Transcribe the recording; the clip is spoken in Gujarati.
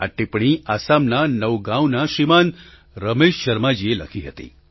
આ ટીપ્પણી આસામના નૌગાંવના શ્રીમાન રમેશ શર્માજીએ લખી હતી